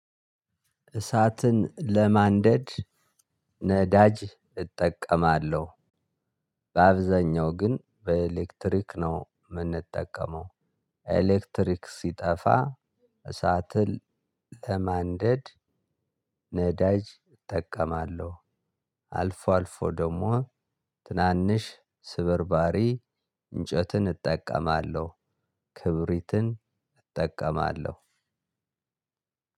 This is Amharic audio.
እሳትን ለማንደድ ነዳጅ እጠቀማለሁ። በአብዛኛው ግን በኤሌክትሪክ ነው የምንጠቀመው። ኤሌክትሪክ ሲጠፋ እሳትን ለማንደድ ነዳጅ እጠቀማለሁ። አልፎ አልፎ ደግሞ ትናንሽ ስበርባሪ እንጨትን እጠቀማለሁ። ክብሪትን እጠቀማለሁ።